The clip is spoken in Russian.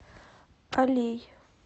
алей